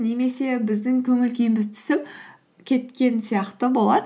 немесе біздің көңіл күйіміз түсіп кеткен сияқты болады